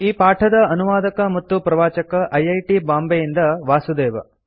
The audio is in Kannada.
ಈ ಪಾಠದ ಅನುವಾದಕ ಮತ್ತು ಪ್ರವಾಚಕ ಐ ಐ ಟಿ ಬಾಂಬೆಯಿಂದ ವಾಸುದೇವ